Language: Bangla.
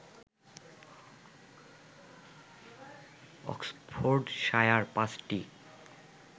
অক্সফোর্ডশায়ার পাঁচটি